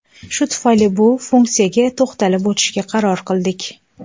Shu tufayli bu funksiyaga to‘xtalib o‘tishga qaror qildik.